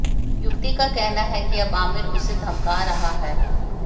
युवती का कहना है कि अब आमिर उसे धमका रहा है